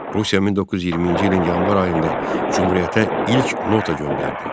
Rusiya 1920-ci ilin yanvar ayında Cümhuriyyətə ilk nota göndərdi.